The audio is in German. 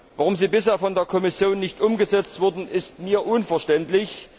Warum sie bisher von der Kommission nicht umgesetzt wurden, ist mir unverständlich.